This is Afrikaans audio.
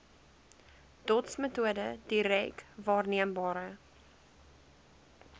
dotsmetode direk waarneembare